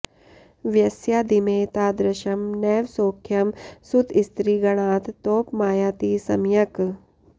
वयस्यादिमे तादृशं नैव सौख्यं सुतस्त्रीगणात् तोप मायाति सम्यक्